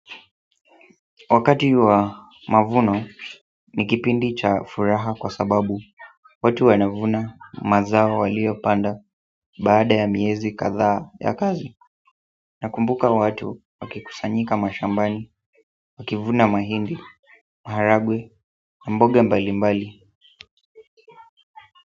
Wakati wa mavuno ni kipindi cha furaha kwa sababu watu wanavuna mazao waliopanda baada ya miezi kadhaa ya kazi nakumbuka watu wakikusanyika mashambani, wakivuna mahindi maharagwe, mboga mbali mbali.